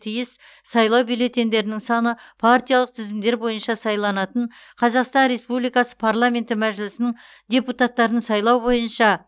тиіс сайлау бюллетеньдерінің саны партиялық тізімдер бойынша сайланатын қазақстан республикасы парламенті мәжілісінің депутаттарын сайлау бойынша